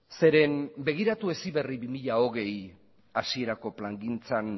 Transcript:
zeren eta begiratu heziberri bi mila hogei hasierako plangintzan